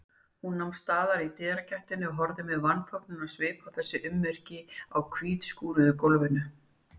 Hún nam staðar í dyragættinni og horfði með vanþóknunarsvip á þessi ummerki á hvítskúruðu gólfinu.